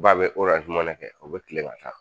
Ba bɛ kɛ o bɛ kile ka taa